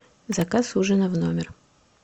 заказ ужина в номер